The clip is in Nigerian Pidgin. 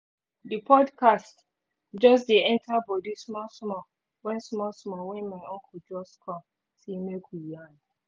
the podcast just dey enter body small small when small small when my uncle just come say make we yarn